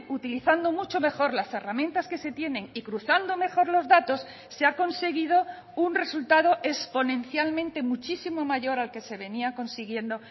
utilizando mucho mejor las herramientas que se tienen y cruzando mejor los datos se ha conseguido un resultado exponencialmente muchísimo mayor al que se venía consiguiendo